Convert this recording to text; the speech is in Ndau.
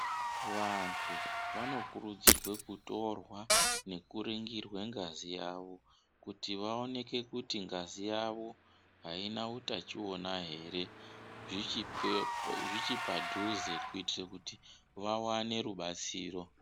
Vantu vanokurudzirwe kutorwa nekuringirwe ngazi yawo kuti vaoneke kuti ngazi yawo haina utachiona here zvichipadhuze kuitire kuti vawane rubatsiro.